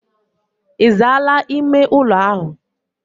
Izaala ime ulo ahu?